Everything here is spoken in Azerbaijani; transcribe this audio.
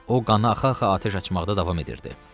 O qanı axa-axa atəş açmaqda davam edirdi.